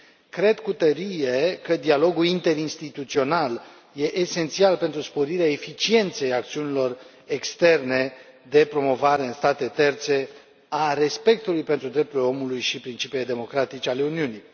Cred cu tărie că dialogul interinstituțional e esențial pentru sporirea eficienței acțiunilor externe de promovare în state terțe a respectului pentru drepturile omului și principiile democratice ale Uniunii.